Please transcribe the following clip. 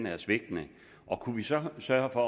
er svigtende kunne vi så sørge for